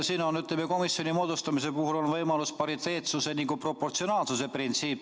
Siin on, ütleme, komisjoni moodustamise puhul võimalikud nii pariteetsuse kui ka proportsionaalsuse printsiip.